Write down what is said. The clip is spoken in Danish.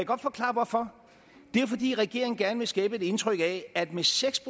godt forklare hvorfor det er jo fordi regeringen gerne vil skabe et indtryk af at med seks